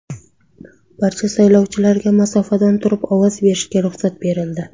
Barcha saylovchilarga masofadan turib ovoz berishga ruxsat berildi.